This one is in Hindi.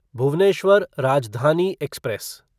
भुवनेश्वर राजधानी एक्सप्रेस